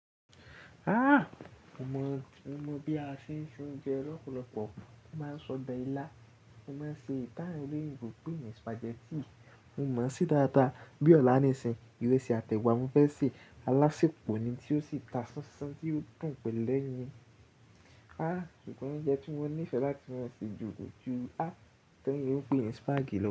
Ah! Mo mọ, mo mọ bí a ṣe ń ṣe oúnjẹ lọ́pọ̀lọ́pọ̀. Mo máa ń sọbe ìlà, mo máa ń ṣe èyí tá wọn eleyinbo npe ni spaghetti. Mo mọ ṣe dáadáa, bí ọ̀la níìsín, ìrẹsì àti ẹ̀wà ni mo fẹ́ sè. Alásèpò ni tí ó sì ta sánsán tí yóò dùn pẹ́lẹ́yín. Ah! Ikàn nbe tí mo nífẹ̀ẹ́ láti máa ṣe jù kò jù tá wọn eleyinbo ń pè ní spag lọ.